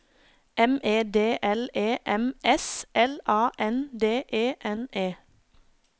M E D L E M S L A N D E N E